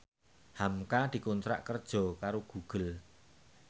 hamka dikontrak kerja karo Google